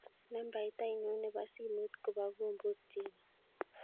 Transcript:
Nambait ainon nebo simoit kobo kombot Chebet